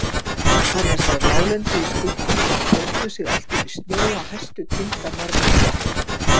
Annars var láglendið í skuggum sem teygðu sig allt upp í snjóa hæstu tinda norðurundan.